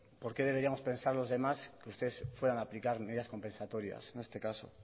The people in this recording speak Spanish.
por qué deberíamos pensar los demás que ustedes fueran aplicar medidas compensatorias en este caso